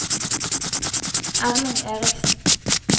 Erling Eriksen